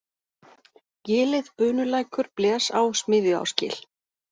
Gilið, Bunulækur, Blesá, Smiðjuásgil